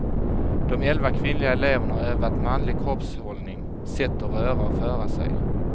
De elva kvinnliga eleverna har övat manlig kroppshållning, sätt att röra och föra sig.